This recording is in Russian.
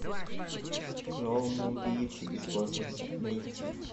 клоуны убийцы из космоса найти